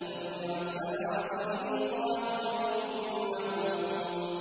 فَجُمِعَ السَّحَرَةُ لِمِيقَاتِ يَوْمٍ مَّعْلُومٍ